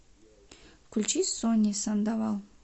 включи сонни сандовал